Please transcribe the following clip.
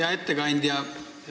Hea ettekandja!